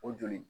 O joli